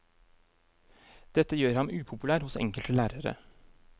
Dette gjør ham upopulær hos enkelte lærere.